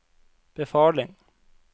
befaling